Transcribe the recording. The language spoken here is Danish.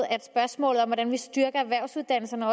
at vi styrker erhvervsuddannelserne